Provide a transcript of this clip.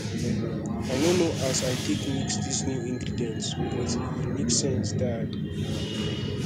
i no know as i take mix dis new ingredients but e make sense die